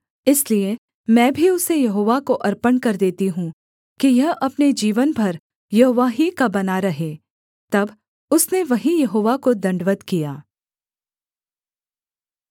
इसलिए मैं भी उसे यहोवा को अर्पण कर देती हूँ कि यह अपने जीवन भर यहोवा ही का बना रहे तब उसने वहीं यहोवा को दण्डवत् किया